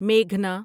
میگھنا